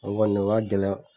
O kɔni o gɛlɛn.